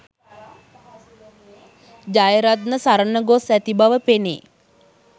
ජයරත්න සරණ ගොස් ඇති බව පෙනේ